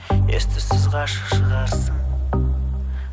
ес түссіз ғашық шығарсың